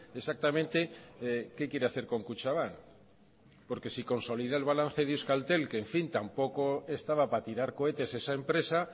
exactamente qué quiere hacer con kutxabank porque si consolida el balance de euskaltel que en fin tampoco estaba para tirar cohetes esa empresa